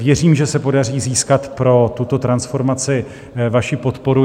Věřím, že se podaří získat pro tuto transformaci vaši podporu.